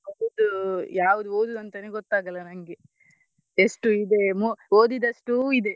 ಹೌದು ಯಾವ್ದು ಓದುದು ಅಂತನೇ ಗೊತ್ತಾಗಲ್ಲ ನಂಗೆ ಎಷ್ಟು ಇದೆ ಓದಿದಷ್ಟು ಇದೆ.